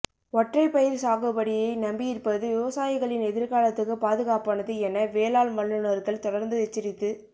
ஒற்றை பயிர் சாகுபடியை நம்பியிருப்பது விவசாயிகளின் எதிர்காலத்துக்கு பாதுகாப்பானது என வேளாண் வல்லுனர்கள் தொடர்ந்து எச்சரித்து